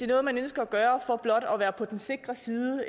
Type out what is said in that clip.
noget man ønsker at gøre for blot at være på den sikre side